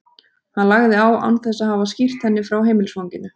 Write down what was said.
Hann lagði á án þess að hafa skýrt henni frá heimilisfanginu.